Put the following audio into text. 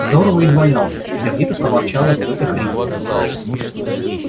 здорово извалялся сердито проворчала тётя христя